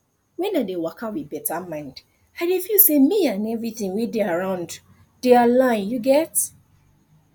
wen i dey waka with better mind i dey feel say me and everything wey dey around dey align you get